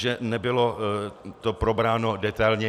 Že to nebylo probráno detailně.